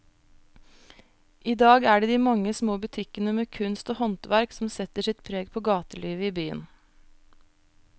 I dag er det de mange små butikkene med kunst og håndverk som setter sitt preg på gatelivet i byen.